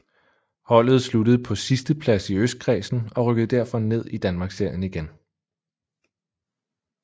Holdet sluttede på sidsteplads i østkredsen og rykkede derfor ned i Danmarksserien igen